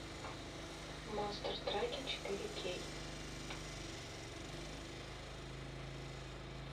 монстр траки четыре кей